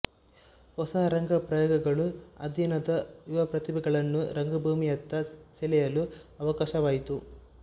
ಹೊಸ ರಂಗ ಪ್ರಯೋಗಗಳು ಆದಿನದ ಯುವಪ್ರತಿಭೆಗಳನ್ನು ರಂಗಭೂಮಿಯತ್ತ ಸೆಳೆಯಲು ಅವಕಾಶವಾಯಿತು